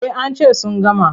Eh an ce sun gama.